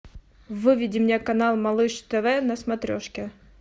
выведи мне канал малыш тв на смотрешке